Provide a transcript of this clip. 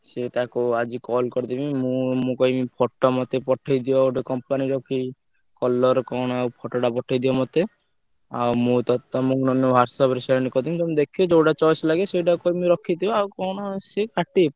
ସିଏ ତାକୁ ଆଜି call କରିଦେବି ମୁଁ ମୁଁ କହିବି photo ମତେ ପଠେଇଦିଅ ଗୋଟେ company ର କି colour କଣ ଆଉ photo ଟା ପଠେଇଦିଅ ମତେ ଆଉ ମୁଁ ~ତ ତମୁକୁ ନହେଲେ WhatsApp ରେ send କରିଦେବି ତମେ ଦେଖିବ, ଯୋଉଟା choice ଲାଗିବ ସେଇଟାକୁ କହିବି ରଖିଦିଅ, ଆଉ କଣ ସିଏ ପାଟି।